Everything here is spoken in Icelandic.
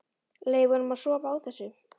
Leyfa honum að sofa á þessu.